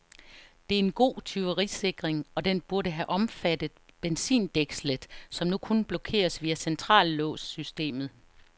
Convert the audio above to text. Det er en god tyverisikring, og den burde have omfattet benzindækslet, som nu kun blokeres via centrallåssystemet.